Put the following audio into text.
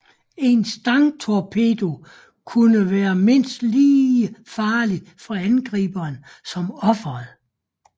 En stangtorpedo kunne være mindst lige farlig for angriberen som offeret